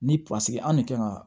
Ni anw de kan ka